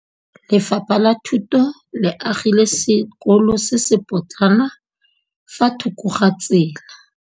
Lefapha la Thuto le agile sekôlô se se pôtlana fa thoko ga tsela.